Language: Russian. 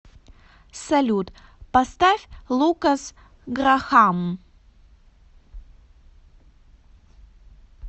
салют поставь лукас грахам